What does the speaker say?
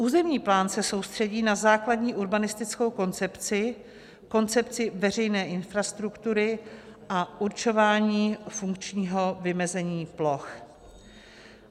Územní plán se soustředí na základní urbanistickou koncepci, koncepci veřejné infrastruktury a určování funkčního vymezení ploch.